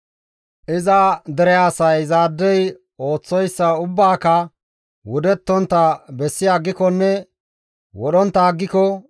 Iza dere asay izaadey ooththoyssa ubbaaka wudettontta bessi aggikonne wodhontta aggiko,